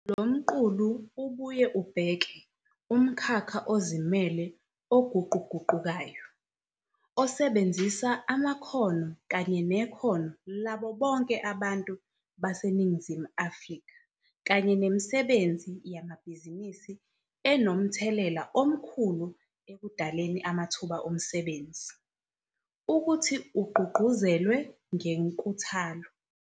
Lo mqulu ubuye ubheke 'umkhakha ozimele oguquguqukayo, osebenzisa amakhono kanye nekhono labo bonke abantu baseNingizimu Afrika kanye nemisebenzi yamabhizinisi enomthelela omkhulu ekudaleni amathuba omsebenzi, ukuthi ugqugquzelwe ngenkuthalo.'